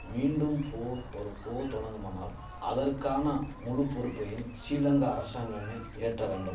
மீண்டும் போர் ஒரு போ தொடங்குமானால் அதற்கான முழு பொறுப்பையும் ஷிலங்கா அரசாங்கமே ஏற்ற வேண்டும்